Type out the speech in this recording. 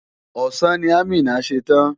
Ọ̀sán ni Amina ṣe tán.